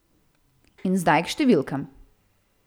In zdaj k številkam.